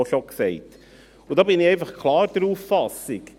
Ich bin einfach klar der Auffassung: